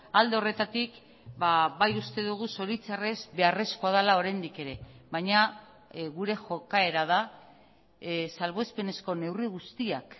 alde horretatik bai uste dugu zoritxarrez beharrezkoa dela oraindik ere baina gure jokaera da salbuespenezko neurri guztiak